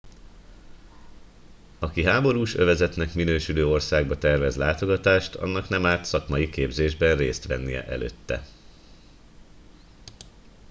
aki háborús övezetnek minősülő országba tervez látogatást annak nem árt szakmai képzésben részt vennie előtte